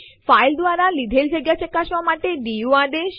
file દ્વારા લીધેલ જગ્યા ચકાસવા માટે ડીયુ આદેશ